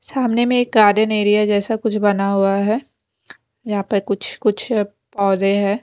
सामने में एक गार्डन एरिया जैसा कुछ बना हुआ है यहां पे कुछ कुछ पौधे है।